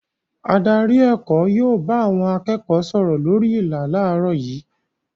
Adarí èkó yóò bá àwọn akẹ́kọ̀ọ́ sọ̀rọ̀ lórí ìlà láàárọ̀ yìí.